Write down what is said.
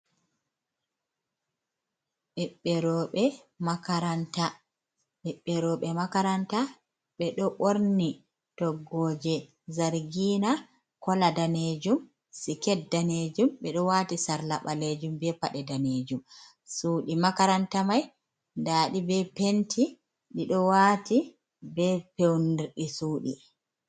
Ɓebbe roɓe makaranta, ɓiɓɓe roɓe makaranta be do ɓorni toggoje zargina kola danejum, siket danejum, bedo wati sarla ɓalejum be paɗe danejum. Shuuɗi makaranta mai nda ɗi be penti ɗi ɗo wati be peundi di sudi.